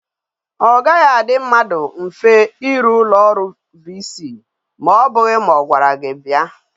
O gaghi adi mmadu mfe iru ulo oru ulo VC ma obughi ma ogwara gi bia